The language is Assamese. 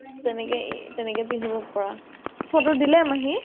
তেনেকে তেনেকে পিন্ধিব পাৰা । photo দিলে মাহী ক ?